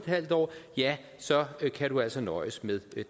halv år ja så kan du altså nøjes med